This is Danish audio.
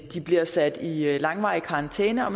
de bliver sat i i langvarig karantæne og